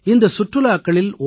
இந்தச் சுற்றுலாக்களில் ஓ